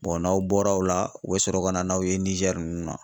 n'aw bɔr'o la u bɛ sɔrɔ ka na n'aw ye Nizɛri ninnu na